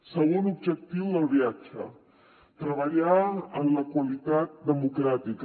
segon objectiu del viatge treballar en la qualitat democràtica